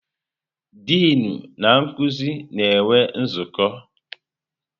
Dịnụ na nkuzi na-enwe nzukọ.